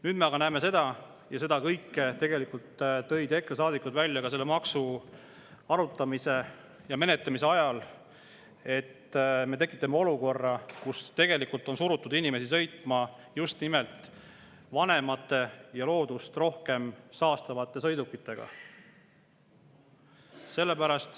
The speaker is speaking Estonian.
Nüüd aga näeme – ja seda kõike tegelikult tõid EKRE saadikud välja selle maksu arutamise ja menetlemise ajal –, et me tekitame olukorra, kus tegelikult on surutud inimesi sõitma just nimelt vanemate ja loodust rohkem saastavate sõidukitega.